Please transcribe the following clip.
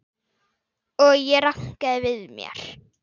Og ég rankaði við mér.